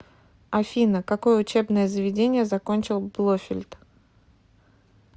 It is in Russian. афина какое учебное заведение закончил блофельд